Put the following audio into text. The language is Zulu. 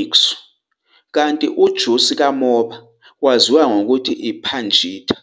Ikṣu kanti ujusi kamoba waziwa ngokuthi iPhāṇita.